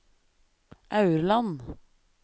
Aurland